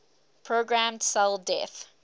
programmed cell death